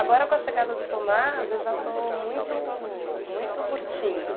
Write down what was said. Agora, com a chegada do Tomás, eu já estou muito muito curtindo.